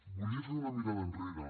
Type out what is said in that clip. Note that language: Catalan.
volia fer una mirada enrere